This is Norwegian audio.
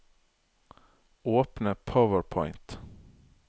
Åpne PowerPoint